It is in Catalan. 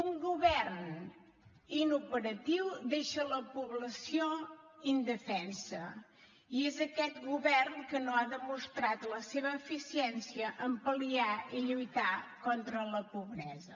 un govern inoperatiu deixa la població indefensa i és aquest govern que no ha demostrat la seva eficiència en pal·liar i lluitar contra la pobresa